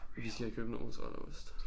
Vi skal have købt noget mozzarellaost